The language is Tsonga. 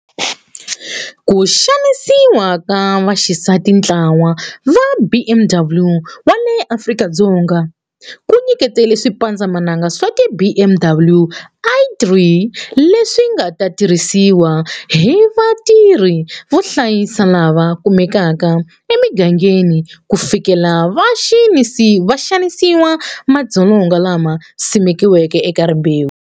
KU XANISIWA KA VAXISATINtlawa wa BMW wa le Afrika-Dzonga wu nyikete swipandzamananga swa ti BMW i3 leswi nga ta tirhisiwa hi vatirhi vo hlayisa lava kumekaka emigangeni ku fikelela vaxanisiwa va madzolonga lama simekiweke eka rimbewu.